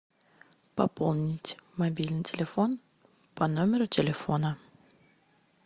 пополнить мобильный телефон по номеру телефона